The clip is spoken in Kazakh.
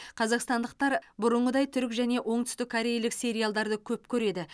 қазақстандықтар бұрынғыдай түрік және оңтүстіккорейлік сериалдарды көп көреді